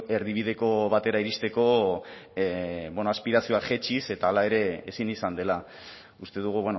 erdibideko batera iristeko bueno aspirazioak jaitsiz eta hala ere ezin izan dela uste dugu